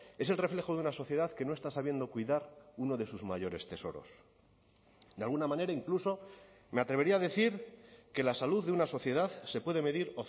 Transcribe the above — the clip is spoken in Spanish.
es el reflejo de una sociedad que no está sabiendo cuidar uno de sus mayores tesoros de alguna manera incluso me atrevería a decir que la salud de una sociedad se puede medir